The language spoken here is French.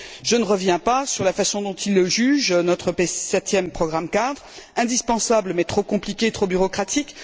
Je ne reviens pas sur la façon dont ils jugent notre septième programme cadre indispensable mais trop compliqué et trop bureaucratique.